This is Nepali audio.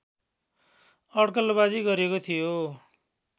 अड्कलबाजी गरिएको थियो